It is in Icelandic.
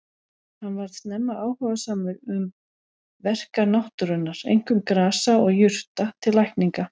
Hann varð snemma áhugasamur um verkan náttúrunnar, einkum grasa og jurta til lækninga.